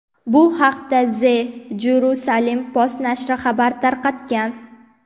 Bu haqda The Jerusalem Post nashri xabar tarqatgan.